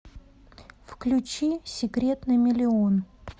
включи секрет на миллион